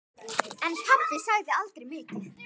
En pabbi sagði aldrei mikið.